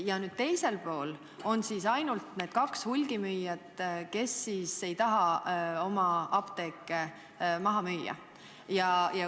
Ja teisel pool on siis ainult need kaks hulgimüüjat, kes ei taha oma apteeke maha müüa.